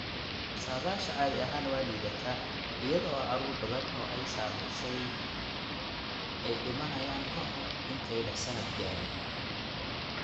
Saadaasha caadi ahaan waa liidata iyada oo carruur badan oo ay saamaysay ay dhimanayaan ka hor intaanay sannad gaarin.